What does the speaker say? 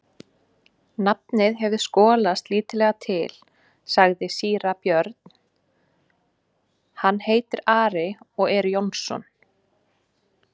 Nafnið hefur skolast lítillega til, sagði síra Björn,-hann heitir Ari og er Jónsson.